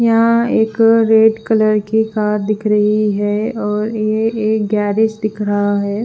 यहा एक red colour की कार दिख रही है ये एक गेरिज दिख रहा है।